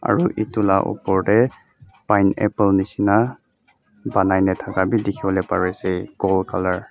aro etola opor teh pineapple neshina ponaina taka be tekiboli bare ase gold colour .